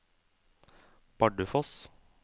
Bardufoss